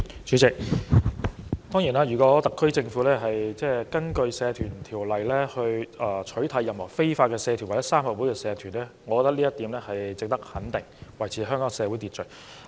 主席，如果特區政府根據《社團條例》取締任何非法社團或三合會社團，我認為這做法值得肯定，因為有助維持社會秩序。